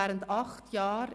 Ich schätze das sehr.